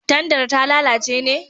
Tandar ta lalace ne?